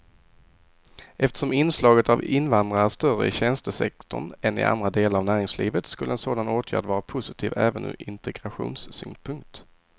Eftersom inslaget av invandrare är större i tjänstesektorn än i andra delar av näringslivet skulle en sådan åtgärd vara positiv även ur integrationssynpunkt.